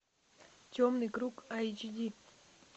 темный круг айч ди